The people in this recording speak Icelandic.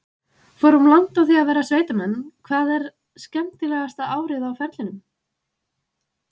Fórum langt á því að vera sveitamenn: Hvað er skemmtilegasta árið á ferlinum?